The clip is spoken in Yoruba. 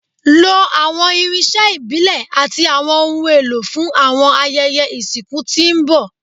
Lo awọn irinṣẹ ibile ati awọn ohun elo fun awọn ayẹyẹ isinku ti n bọ